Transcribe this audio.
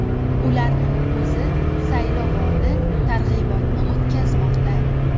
Ularning o‘zi saylovoldi targ‘ibotini o‘tkazmoqda.